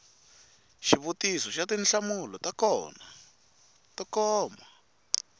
xivutiso xa tinhlamulo to koma